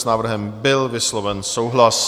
S návrhem byl vysloven souhlas.